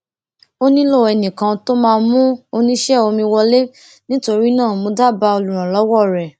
ó nílò ẹnì kan tó máa mú oníṣé omi wọlé nítorí náà mo dábáà olùrànlówó rẹ